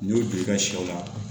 N'i y'o don i ka sɛw la